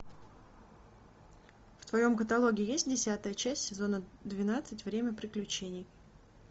в твоем каталоге есть десятая часть сезона двенадцать время приключений